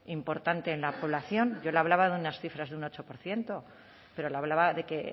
importante en la población yo le hablaba de unas cifras de un ocho por ciento pero le hablaba de que